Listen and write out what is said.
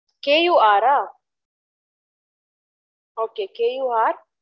k u r ah okayk u r